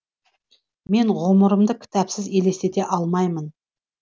мен ғұмырымды кітапсыз елестете алмаймын